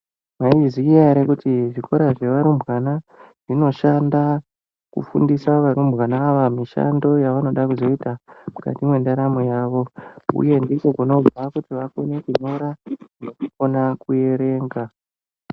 Maizviziva yere kuti zvikora zvevarumbwana zvinoshanda kufundisa varumbwana ava mishando yevanoda kuzoita mukati mwendaramo yavo uye inovafundisa kuti vakone kunyora nekuerenga .